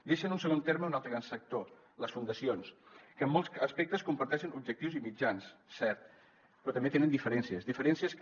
deixa en un segon terme un altre gran sector les fundacions que en molts aspectes comparteixen objectius i mitjans cert però també tenen diferències diferències que